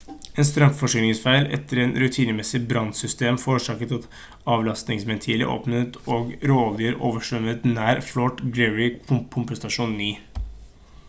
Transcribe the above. en strømforsyningsfeil etter en rutinemessig brannsystemtest forårsaket at avlastingsventiler åpnet og råolje overstrømmet nær fort greely pumpestasjon 9